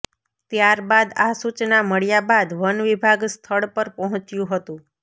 ત્યાર બાદ આ સૂચના મળ્યા બાદ વન વિભાગ સ્થળ પર પહોંચ્યું હતું